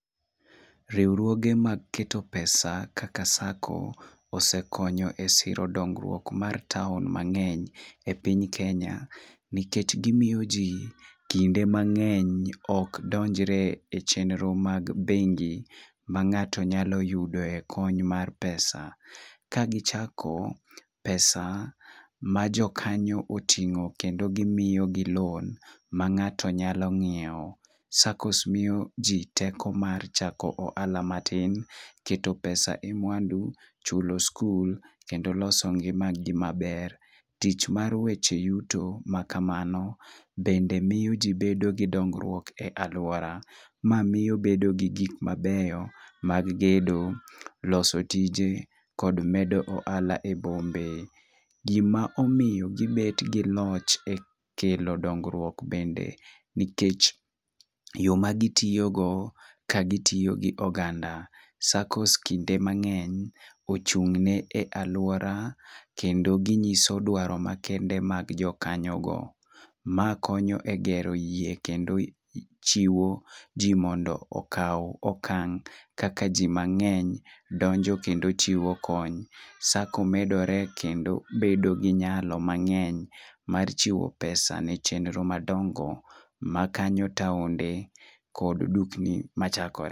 Riwruoge mag keto pesa kaka sacco osekonyo e siro dongruok mar taon mangeny e piny kenya nikech gimiyo ji kinde mang'eny ok donjre e chenro mag bengi, ma ng'ato nyalo yudo e kony mar pesa[c]. Ka gichako ,pesa ma jokanyo oting'o kendo gimiyo gi loan ma ng'ato nyalo ng'iewo .Saccos miyo ji teko mar chako ohala matin ,keto pesa e mwandu ,chulo skul kendo loso ngima gi maber .Tich mar weche yudo ma kamano bende miyo jii donjo gi dongruok e aluora. Ma miyo gimedo gi gik mabeyo mag gedo loso tije kod medo ohala e bombe .Gimomiyo gibet gi loch e kelo dongruok bende nikech yoo ma gitiyo go ka gitiyo gi oganda, saccos kinde mang'eny ochung' ne aluora kendo ginyiso dwaro makende mag jokanyo go. Ma konyo e gero yie kendo jiwo jii mondo okaw okang' kaka jii mang'eny donjo kendo chiwo kony sacco medore kendo ,bedo gi nyalo mangeny mar chiwo pesa ne chenro madongo makanyo taonde kod dukni machakre